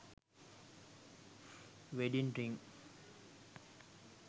wedding ring